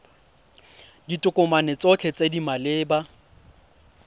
ditokomane tsotlhe tse di maleba